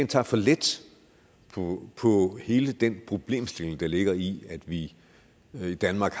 tager for let på hele den problemstilling der ligger i at vi i danmark